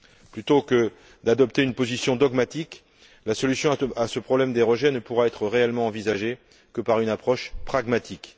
Plutôt que d'adopter une position dogmatique, la solution à ce problème des rejets ne pourra être réellement envisagée que par une approche pragmatique.